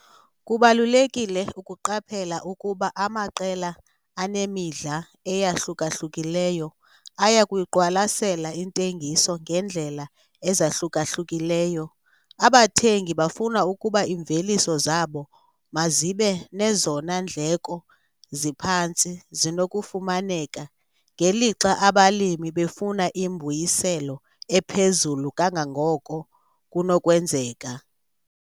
Kubalulekile ukuqaphela ukuba amaqela anemidla eyahluka-hlukileyo aya kuyiqwalasela intengiso ngeendlela ezahluka-hlukileyo. Abathengi bafuna ukuba iimveliso zabo mazibe nezona ndleko ziphantsi zinokufumaneka, ngelixa abalimi befuna imbuyiselo ephezulu kangangoko kunokwenzeka.